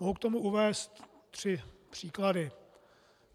Mohu k tomu uvést tři příklady.